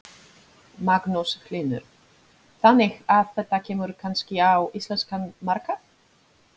Magnús Hlynur: Þannig að þetta kemur kannski á íslenskan markað?